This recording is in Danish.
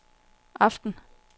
aften